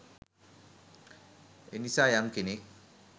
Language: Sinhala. එනිසා යම් කෙනෙක්